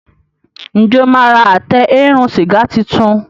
Njé o ma rà Àtẹ eérún sìgá títún?